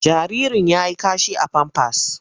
Jaririn ya yi kashi a famfas.